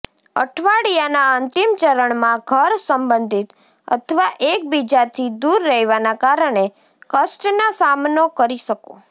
અઠવાડિયાના અંતિમ ચરણમાં ઘર સંબંધિત અથવા એકબીજાથી દૂર રહેવાના કારણે કષ્ટના સામનો કરી શકો